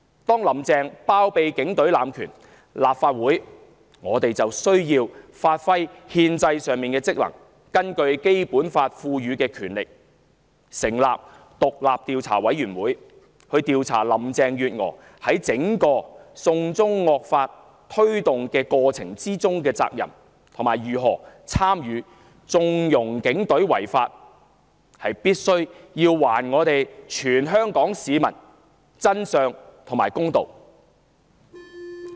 當"林鄭"包庇警隊濫權，立法會就要發揮憲制上的職能，行使《基本法》賦予的權力成立獨立調查委員會，調查林鄭月娥在推動"送中惡法"整個過程中的責任，以及如何參與縱容警隊違法，從而還全香港市民真相和公道。